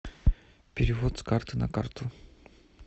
перевод с карты на карту